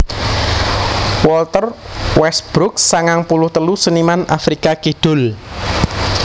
Walter Westbrook sangang puluh telu seniman Afrika Kidul